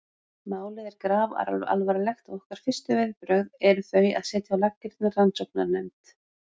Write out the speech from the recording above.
Málið er grafalvarlegt og okkar fyrstu viðbrögð eru þau að setja á laggirnar rannsóknarnefnd.